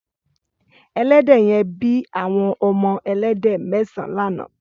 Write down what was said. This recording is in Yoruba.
Ẹlẹdẹ yèn bi awọn ọmọ ẹlẹdẹ mẹsãn lànã